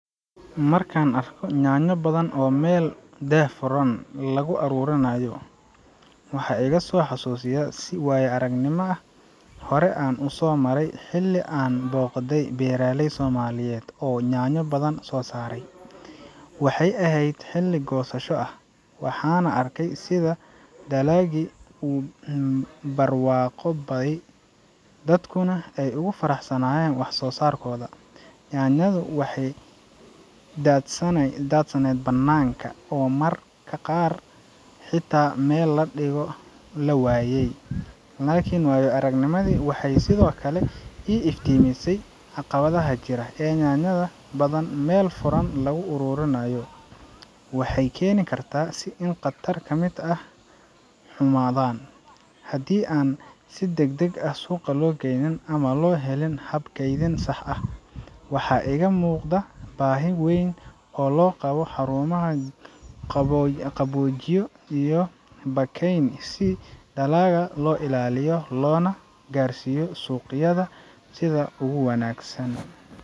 Markaan arko yaanyo badan oo meel daah furan lagu ururinayo, waxay iga soo xusuusisaa waayo-aragnimo aan hore u soo maray xilli aan booqday beeraley Soomaaliyeed oo yaanyo badan soo saaray. Waxay ahayd xilli goosasho ah, waxaana arkay sida dalaggi u barwaaqoobay, dadkuna ay ugu faraxsanaayeen wax-soo-saarkooda. Yaanyadu waxay daadsanaayeen bannaanka, oo mararka qaar xitaa meel la dhigo la waayay. Laakiin waayo-aragnimadani waxay sidoo kale ii iftiimisay caqabadaha jira. ee yaanyo badan meel furan lagu ururinayo waxay keeni kartaa in qaar ka mid ah ay xumaadaan haddii aan si degdeg ah loo suuq geyn ama aan loo helin hab kaydin sax ah. Waxaa iiga muuqday baahi weyn oo loo qabo xarumaha qaboojiye ah iyo baakayn si dalagga loo ilaaliyo loona gaarsiiyo suuqyada sida ugu wanaagsan.